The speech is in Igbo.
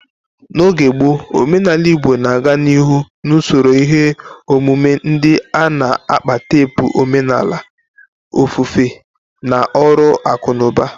N'oge gboo, omenala Igbo na-aga n'ihu n'usoro ihe omume ndị a, na-akpa teepu omenala, ofufe, na ọrụ akụ na ụba.